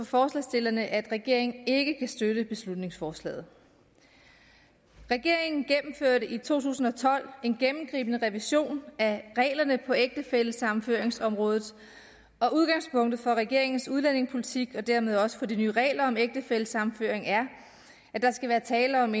forslagsstillerne at regeringen ikke kan støtte beslutningsforslaget regeringen gennemførte i to tusind og tolv en gennemgribende revision af reglerne på ægtefællesammenføringsområdet og udgangspunktet for regeringens udlændingepolitik og dermed også for de nye regler om ægtefællesammenføring er at der skal være tale om